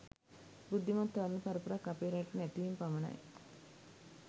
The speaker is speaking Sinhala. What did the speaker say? බුද්ධිමත් තරුණ පරපුරක් අපේ රටට නැතිවීම පමණයි.